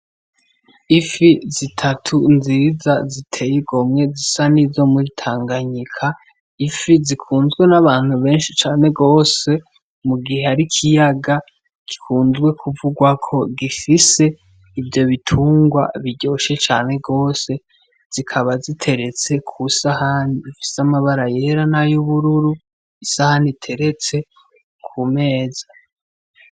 Ifi zitatu nziza ziteye igomwe zisa n'izo mwitanganyika ifi zikunzwe n'abantu benshi cane rwose mu gihe ari ikiyaga gikunzwe kuvugwako gifise ivyo bitungwa biryoshe cane rwose zikaba ziteretse kusaho aniifise amabara yera nayo ubururu isahana iteretse ku meza.